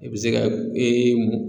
I bɛ se ka ee mun